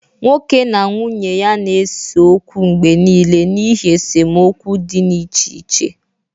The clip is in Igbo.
nwoke na nwunye ya na-ese okwu mgbe nile n'ihi esemokwu dị n'echiche